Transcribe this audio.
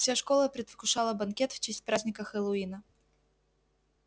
вся школа предвкушала банкет в честь праздника хэллоуина